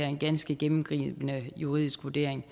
en ganske gennemgribende juridisk vurdering af